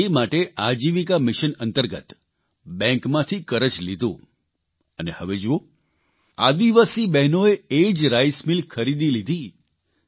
એટલે તે માટે આજીવિકા મિશન અંતર્ગત બેંકમાંથી કરજ લીધું અને હવે જુઓ આદિવાસી બહેનોએ એ જ રાઇસમિલ ખરીદી લીધી